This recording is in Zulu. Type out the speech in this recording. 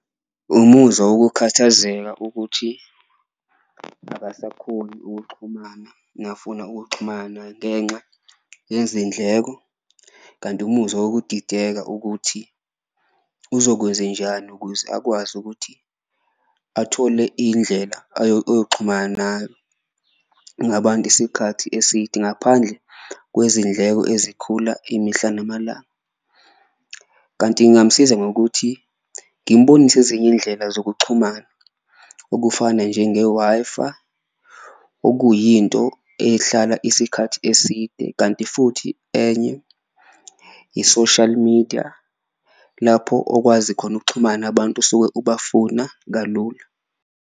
Umuzwa wokukhathazeka ukuthi akasakhoni ukuxhumana mekafuna ukuxhumana ngenxa yezindleko, kanti umuzwa nokudideka ukuthi uzokwenzenjani ukuze akwazi ukuthi athole iyindlela nayo ngabantu isikhathi eside ngaphandle kwezindleko ezikhula imihla namalanga. Kanti ngamusiza ngokuthi ngimbonise izinye iyindlela zokuxhumana okufana njenge-Wi-Fi okuyinto ehlala isikhathi eside, kanti futhi enye i-social media lapho okwazi khona ukuxhumana abantu osuke ubafuna kalula.